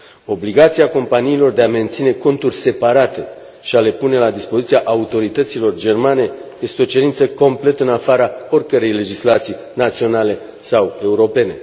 Obligația companiilor de a menține conturi separate și de a le pune la dispoziția autorităților germane este o cerință complet în afara oricărei legislații naționale sau europene.